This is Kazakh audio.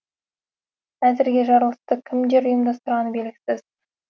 әзірге жарылысты кімдер ұйымдастырғаны белгісіз